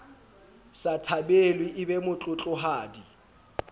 sa thabelwe e be motlotlohadi